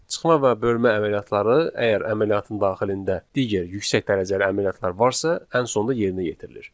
Çıxma və bölmə əməliyyatları əgər əməliyyatın daxilində digər yüksək dərəcəli əməliyyatlar varsa, ən sonda yerinə yetirilir.